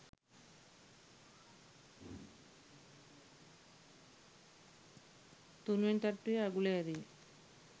තුන්වෙනි තට්ටුවේ අගුල ඇරිය